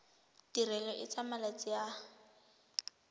tirelo e tsaya malatsi a